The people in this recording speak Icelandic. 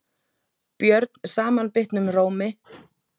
björn samanbitnum rómi.